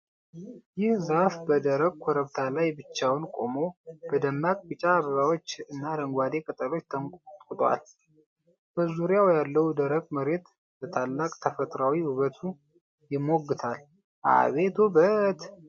ይህ ዛፍ በደረቅ ኮረብታ ላይ ብቻውን ቆሞ! በደማቅ ቢጫ አበባዎች እና አረንጓዴ ቅጠሎች ተንቆጥቁጧል። በዙሪያው ያለውን ደረቅ መሬት በታላቅ ተፈጥሯዊ ውበቱ ይሞግታል! አቤት ውበት!"